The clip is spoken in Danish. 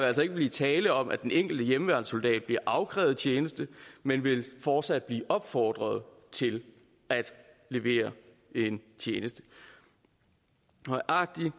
altså ikke blive tale om at den enkelte hjemmeværnssoldat bliver afkrævet tjeneste man vil fortsat blive opfordret til at levere en tjeneste nøjagtig